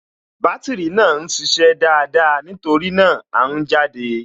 Bátìrì náà ń ṣiṣẹ́ dáadáa, nítorí náà, À ń jáde